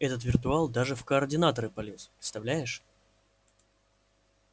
этот виртуал даже в координаторы полез представляешь